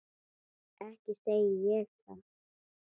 Ekki segi ég það.